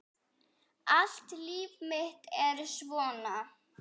Allt líf mitt er svona!